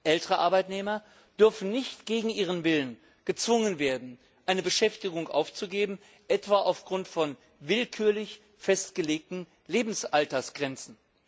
Ältere Arbeitnehmer dürfen nicht gegen ihren Willen gezwungen werden, eine Beschäftigung aufzugeben, etwa aufgrund von willkürlich festgelegten Lebensaltersgrenzen.